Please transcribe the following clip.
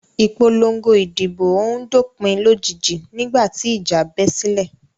Ìpòlọngo ìdìbò òhun dópìn lójijì nígbà tí ìjà bẹ́ sílẹ̀.